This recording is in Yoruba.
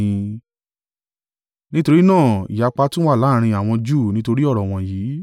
Nítorí náà ìyapa tún wà láàrín àwọn Júù nítorí ọ̀rọ̀ wọ̀nyí.